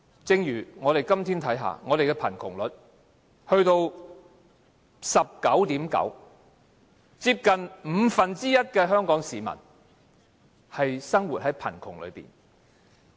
正如我們看看今天的貧窮率達到 19.9%， 接近五分之一的香港市民生活於貧窮之中。